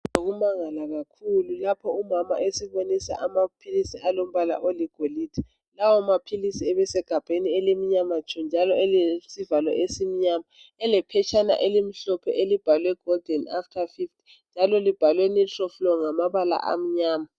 Ukumangala kakhulu lapho umama esibonisa amaphilisi alombala olilode lawomaphilisi ebesegabheni elimnyama tshu njalo elilesivalo esimnyama elephetshana elimhlophe elibhalwe golden after 50 lalo libhalwe nitrolflo-9 ngamabala amnyama